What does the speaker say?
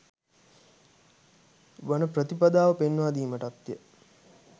වන ප්‍රතිපදාව පෙන්වාදීමටත්ය.